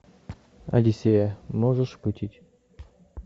одиссея можешь включить